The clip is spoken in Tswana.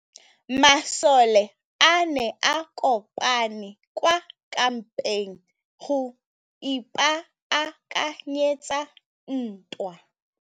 Masole a ne a kopane kwa kampeng go ipaakanyetsa ntwa.